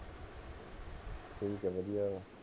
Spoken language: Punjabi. ਠੀਕ ਹੈ ਵਧੀਆ